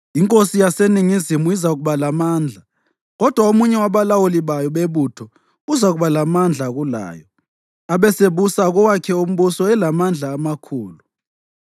Inkosi yaseNingizimu izakuba lamandla, kodwa omunye wabalawuli bayo bebutho uzakuba lamandla kulayo abesebusa kowakhe umbuso elamandla amakhulu.